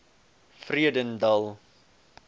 vredendal